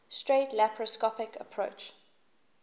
straight laparoscopic approach